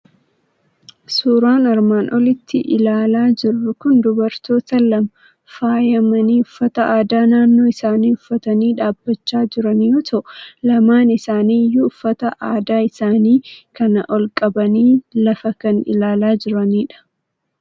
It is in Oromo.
Suuraan armaan olitti ilaalaa jirru kun dubartoota lama faayamanii, uffata aadaa naannoo isaanii uffatanii dhaabachaa jiran yoo ta'u, lamaan isaanii iyyuu uffata aadaa isaanii kana ol qabanii lafa kan ilaalaa jiranidha.